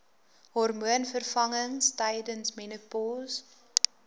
hormoonvervangings tydens menopouse